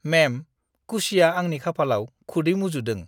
मेम, कुशीया आंनि खाफालाव खुदै मुजुदों।